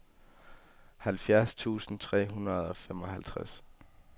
halvfjerds tusind tre hundrede og femoghalvtreds